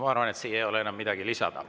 Ma arvan, et siia ei ole enam midagi lisada.